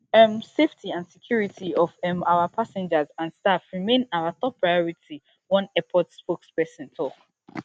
um safety and security of um our passengers and staff remain our top priority one airport spokesperson tok